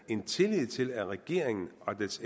en tillid til at regeringen og dens